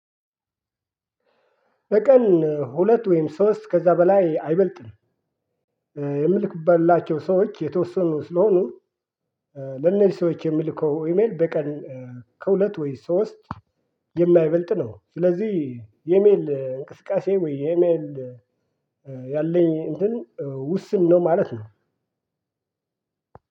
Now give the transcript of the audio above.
በቀን ሁለት ወይም ሶስት ከዛ በላይ አይበልጥም። የምልክበትላቸው ሰዎች የተወሰኑ ስለሆኑ ለነዚህ ሰዎች የምልከው ኢሜል በቀን ከሁለት ወይስ ሶስት የማይበልጥ ነው። ስለዚህ የኢሜል እንቅስቃሴ ወይ የኢሜል ያለኝ እንትን ውስን ነው ማለት ነው።